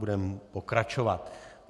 Budeme pokračovat.